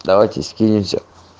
давайте скинемся